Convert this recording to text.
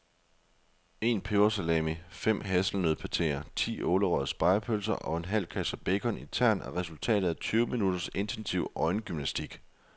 En pebersalami, fem hasselnøddepateer, ti ålerøgede spegepølser og en halv kasse bacon i tern er resultatet af tyve minutters intensiv øjengymnastik.